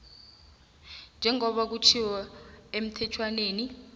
njengoba kutjhiwo emthetjhwaneni